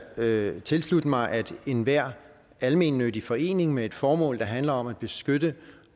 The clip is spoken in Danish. da tilslutte mig at enhver almennyttig forening med et formål der handler om at beskytte